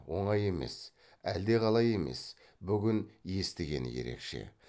оңай емес әлдеқалай емес бүгін естігені ерекше